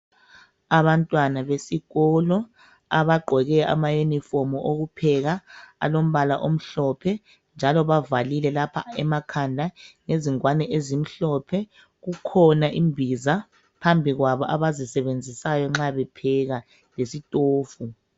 abantwana besikolo abagqoke ama uniform okupheka alombala omhlophe njalo abavalile lapha emakhanda ngezingwane ezimhlophe kukhona imbiza phmbi kwabo abazisebenzisayo nxa bepheka lesitofu